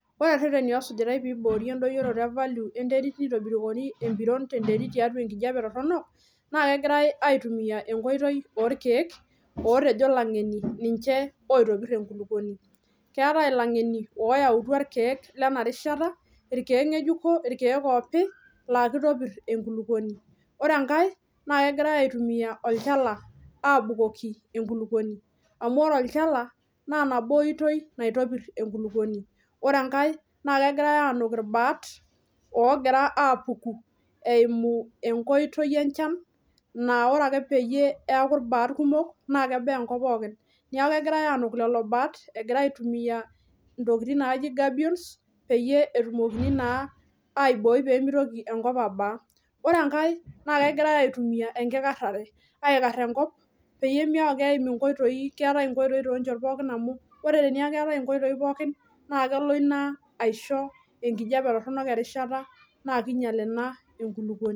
Ore rreteni osujitai peiboori endoyoroto e valio enterit peitobikori empiron enterit tiatua enkijape torrono naa kegirai aitumia enkoitoi orkeek, ootejo lang'eni ninche oitobirr enkulukuoni. Keetai ilang'eni ooyautua irkeek lena rishata, irkeek ng'ejuko, irkeek oopi laa keitopirr enkulukuoni. Ore engai naa kegirai aitumia olchala aabukoki enkulukuoni. Amu ore olchala naa nabo oitoi naitopirr enkulukuoni. Ore engai naa kegirai anuk ilbaat oogira apuku eimu enkoitoi enchan naa ore ake peyie eaku ilbaat kumok naake ebaa enkop pookin. Neaku egirai anuk lelo baat agiria aitumia intokitin naaji gabions peyie etumokini naa aibooyi peemeitoki enkop abaa. Ore engai naa kegirai aitumia enkikarrare, aikarr enkop peyie meaku keim inkoitoi keetai inkoitoi toonchot pookin amu ore teneaku eetai inkoitoi pookin naa kelo ina aisho enkijape torrono erishata nakeinyal ena enkulukuoni.